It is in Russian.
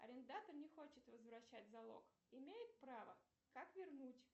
арендатор не хочет возвращать залог имеет право как вернуть